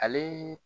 Ale